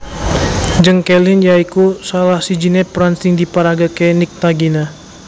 Jeng Kelin ya iku salah sijine peran sing diparagakake Nyctagina